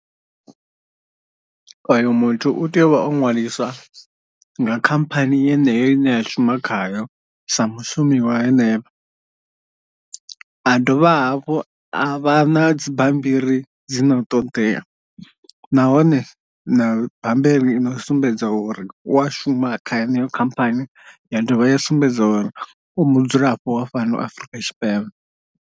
Oyo muthu u tea u vha o ṅwaliswa nga khamphani yeneyo ine ya shuma khayo sa mushumi wa henefho, a dovha hafhu a vha na dzi bambiri dzino ṱodea, nahone na bammbiri i no sumbedza uri u a shuma kha yeneyo khamphani ya dovha ya sumbedza uri u mudzulapo wa fhano Afurika Tshipembe.